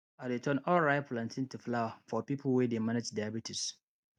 i dey turn unripe plantain to flour for people wey dey manage diabetes